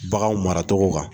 Baganw maracogo kan